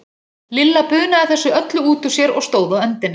Lilla bunaði þessu öllu út úr sér og stóð á öndinni.